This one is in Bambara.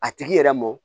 A tigi yɛrɛ mɔ